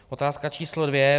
Otázka číslo dvě.